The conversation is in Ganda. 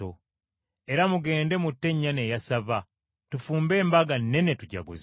Era mugende mutte ennyana eya ssava. Tufumbe embaga nnene tujaguze.